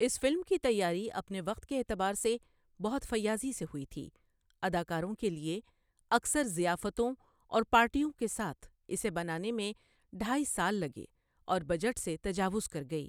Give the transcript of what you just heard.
اس film کی تیاری اپنے وقت کے اعتبار سے بہت فیاضی سے ہوئی تھی اداکاروں کے لیے اکثر ضیافتوں اور پارٹیوں کے ساتھ، اسے بنانے میں ڈھائی سال لگے اور بجٹ سے تجاوز کر گئی۔